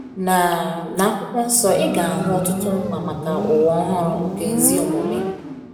Na Na akwụkwo nsọ ị ga - ahụ ọtụtụ nkwa maka ụwa ọhụrụ nke ezi omume.